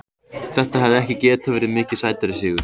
Þetta hefði ekki getað verið mikið sætari sigur.